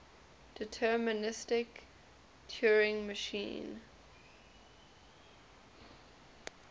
deterministic turing machine